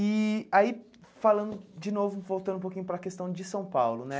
E aí, falando de novo, voltando um pouquinho para a questão de São Paulo, né?